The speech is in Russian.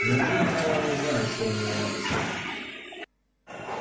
неужели мелани знает что у него на душе